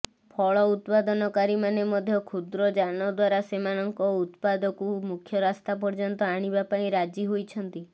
ଫଳ ଉତ୍ପାଦନକାରୀମାନେ ମଧ୍ୟ କ୍ଷୁଦ୍ର ଯାନ ଦ୍ବାର ସେମାନଙ୍କ ଉତ୍ପାଦକୁ ମୁଖ୍ୟ ରାସ୍ତା ପର୍ଯ୍ୟନ୍ତ ଆଣିବାପାଇଁ ରାଜି ହୋଇଛନ୍ତି